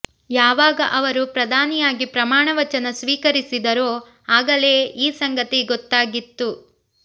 ಯಾವಾಗ ಅವರು ಪ್ರಧಾನಿಯಾಗಿ ಪ್ರಮಾಣವಚನ ಸ್ವೀಕಸಿದರೋ ಆಗಲೇ ಈ ಸಂಗತಿ ಗೊತ್ತಾಗಿತ್ತು